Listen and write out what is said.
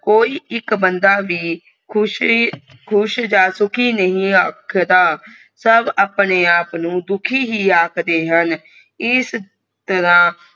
ਕੋਈ ਇਕ ਬੰਦਾ ਵੀ ਖੁਸ਼ ਜਾ ਸੁਖੀ ਨਹੀਂ ਆਖਦਾ ਸਬ ਆਪਣੇ ਆਪ ਨੂੰ ਦੁਖੀ ਹੀ ਆਖਦੇ ਹਨ ਇਸ ਤਰਾਹ